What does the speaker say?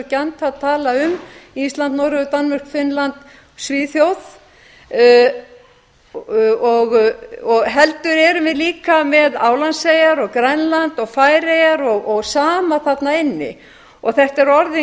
gjarnt að tala um íslandi noregi danmörku finnlandi og svíþjóð heldur erum við líka með álandseyjar og grænland og færeyjar og sama þarna inni þetta er orðinn